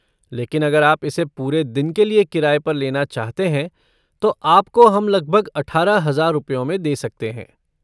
लेकिन अगर आप इसे पूरे दिन के लिए किराए पर लेना चाहते हैं तो आपको हम लगभग अठारह हजार रुपयों में दे सकते हैं।